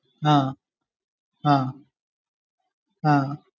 ആഹ് ആഹ് ആഹ്